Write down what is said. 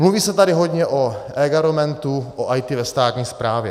Mluví se tady hojně o eGovernmentu, o IT ve státní správě.